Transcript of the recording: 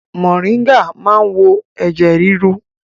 Moringa cures high blood pressure